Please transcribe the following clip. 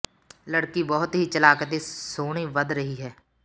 ਲੜਕੀ ਬਹੁਤ ਹੀ ਚਲਾਕ ਅਤੇ ਸੋਹਣੀ ਵਧ ਰਹੀ ਹੈ